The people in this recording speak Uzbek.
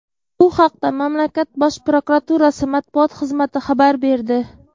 Bu haqda mamlakat Bosh prokuraturasi matbuot xizmati xabar berdi.